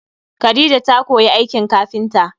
Khadija ta koyi aikin kafinta